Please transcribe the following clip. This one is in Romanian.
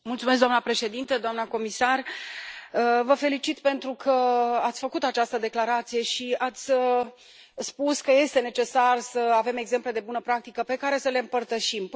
Doamnă președintă, doamnă comisar, vă felicit pentru că ați făcut această declarație și ați spus că este necesar să avem exemple de bună practică pe care să le împărtășim.